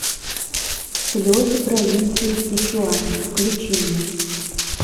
слезы провинции сычуань включи мне